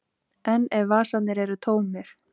En ef vasarnir eru tómir?